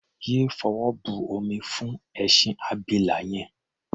Yé fọwọ́ bomi fún ẹṣin abila yẹn!.